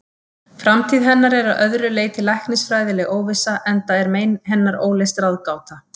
Framtíð hennar er að öðru leyti læknisfræðileg óvissa, enda er mein hennar óleyst ráðgáta.